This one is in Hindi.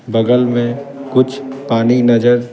बगल में कुछ पानी नजर--